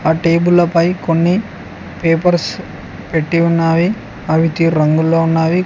ఆ టేబుల్ పై కొన్ని పేపర్స్ పెట్టి ఉన్నవి అవితి రంగులో ఉన్నవి.